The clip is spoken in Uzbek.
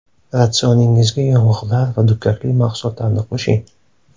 Ratsioningizga yong‘oqlar va dukkakli mahsulotlarni qo‘shing.